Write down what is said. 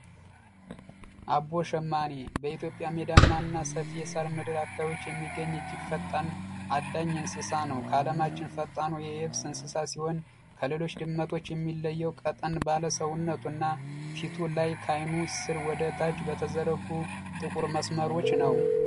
አቦሸማኔ በኢትዮጵያ ሜዳ ማን ሰፊ ሳር ምድር አካባቢዎች የሚገኝ እጅግ ፈጣን አዳኝ እንስሳ ነው ካለማችን ፈጣን ሲሆን ከሌሎች ድመቶች የሚለየው ቀጠን ሰውነቱ እና ፊቱ ላይ ካይኑ ስር ወደ ታች በተዘረጉ ጥቁር መስመሮች ነው